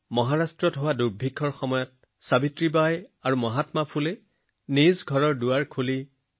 মহাৰাষ্ট্ৰত দুৰ্ভিক্ষৰ সৃষ্টি হোৱাত সাবিত্ৰী বাই আৰু মহাত্মা ফুলেজীয়ে সহায় বিচৰাসকলৰ বাবে দুৱাৰ মুকলি কৰি দিলে